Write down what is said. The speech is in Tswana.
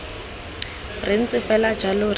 re ntse fela jalo re